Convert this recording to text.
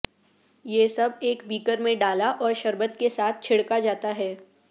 یہ سب ایک بیکر میں ڈالا اور شربت کے ساتھ چھڑکا جاتا ہے